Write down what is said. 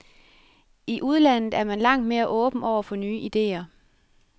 I udlandet er man langt mere åben over for nye idéer.